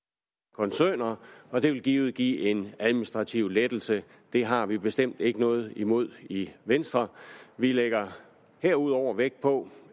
koncerner og det vil givet give en administrativ lettelse det har vi bestemt ikke noget imod i venstre vi lægger herudover vægt på